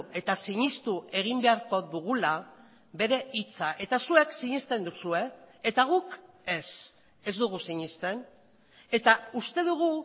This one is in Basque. eta sinestu egin beharko dugula bere hitza eta zuek sinesten duzue eta guk ez ez dugu sinesten eta uste dugu